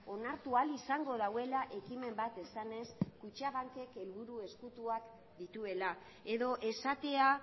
onartu ahal izango duela ekimen bat esanez kutxabankek helburu ezkutuak dituela edo esatea